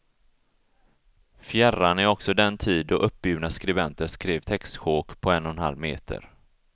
Fjärran är också den tid då uppburna skribenter skrev textsjok på en och en halv meter.